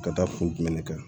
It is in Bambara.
Ka taa fo dumɛn de kan